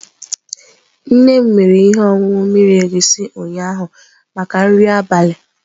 Nne m mere ihe ọṅụṅụ mmiri egusi ụnyaahụ maka nri abalị.